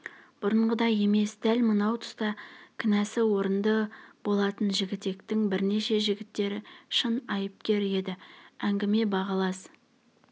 бұрынғыдай емес дәл мынау тұста кінәсі орынды болатын жігітектің бірнеше жігіттері шын айыпкер еді әңгіме балағаз